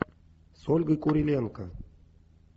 с ольгой куриленко